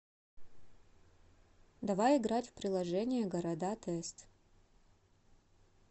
давай играть в приложение города тест